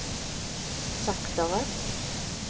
saktere